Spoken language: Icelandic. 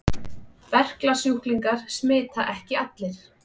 Berklasjúklingar smita ekki allir.